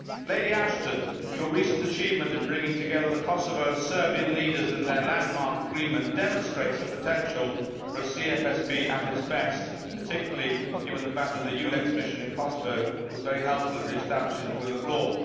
Lady Ashton, your recent achievement in bringing together the Kosovo and Serbian leaders in their landmark agreement demonstrates the potential for a CFSP at its best, particularly given the fact that the EULEX mission in Kosovo was very helpful in re establishing the rule of law.